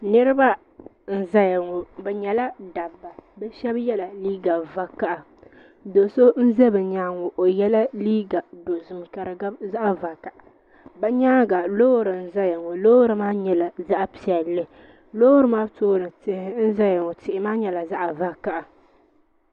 Niraba n ʒɛya ŋo bi nyɛla dabba bi shaba yɛla liiga vakaɣa do so n ʒɛ bi nyaanga ŋo o yɛla liiga dozim ka di gabi zaɣ vakaɣili bi nyaanga loori n ʒɛya ŋo Loori maa nyɛla zaɣ piɛlli loori maa tooni tihi n ʒɛya ŋo tihi maa nyɛla zaɣ vakaɣa